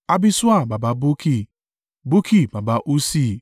Abiṣua baba Bukki, Bukki baba Ussi,